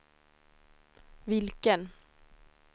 vilken